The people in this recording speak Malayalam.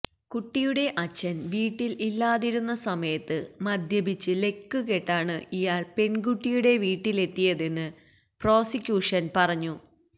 കുട്ടിയുടെ അച്ഛൻ വീട്ടിൽ ഇല്ലാതിരുന്ന സമയത്ത് മദ്യപിച്ച് ലക്ക് കെട്ടാണ് ഇയാൾ പെൺകുട്ടിയുടെ വീട്ടിലെത്തിയതെന്ന് പ്രോസിക്യൂഷൻ പറഞ്ഞു